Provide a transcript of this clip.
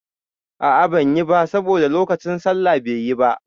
A a banyi ba saboda lokacin sallah be yi ba.